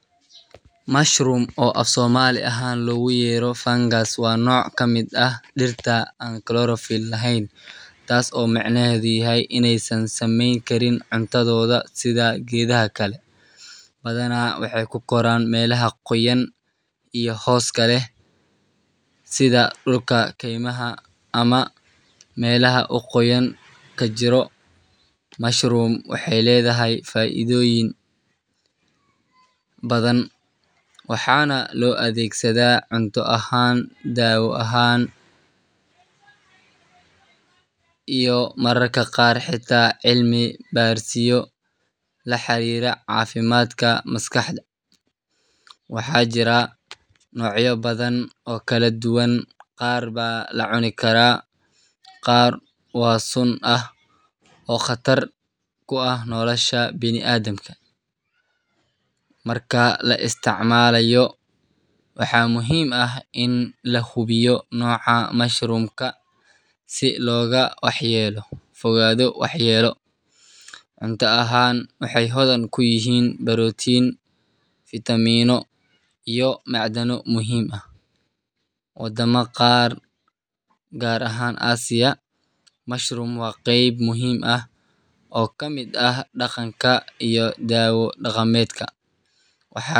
mushroom oo afsomali ahan loguyero fangas, waa noc kamid ah dirta an chlorophyll laheyn, tasi oo macnaheda yahay inay san sameyni karin cuntadodha sidha gedaha kale, badhanah waxay kukoran melaha goyan iyo hoska leh sidha dulka keymaha, amah melaha oo qoyan kajiro, mushroom waxay ledahay faidoyin badhan waxa nah loo adegsada cunto ahan, dawo ahan iyo mararka qar xita cilmi barisyo laxarira cafimtkadha maskaxda, waxa jira nocyo badhan oo kaladuban qar baa lacuna kara, qar waa suum ah oo qatar kuah nolosha bini adamka, marka laa istacmalayo waxa muhim ah ini lahubiyo noca mashrumka sii loga waxyelo cuntaa ahan waxay hodhan kuyihin protin, vitamino iyo macdano muhim ah wadama qar gar ahan Asia mushroom waa qeb muhim ah oo kamid ah daqanka, dawo daqamedka waxa.